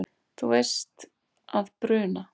Þú veist að bruna